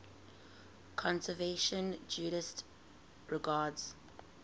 conservative judaism regards